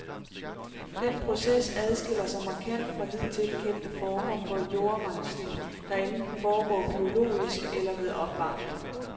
Den proces adskiller sig markant fra hidtil kendte former for jordrensning, der enten foregår biologisk eller ved opvarmning.